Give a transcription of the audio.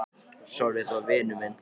Pabbi og mamma eru bara svona.